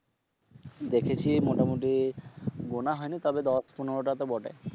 দেখেছি মোটামুটি গোনা হয়নি তবে দশ পনেরো টা তো বটে